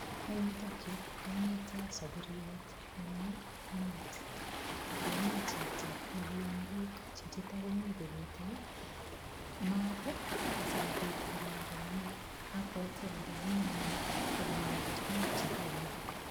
Eng yutokyu komito saburiet nemi maat akomi chito nekiing'uruk. Chichito komi kokutei maat asikobit kolal komie. Abwoti ale mi ine koyoi tukuk chekiamei.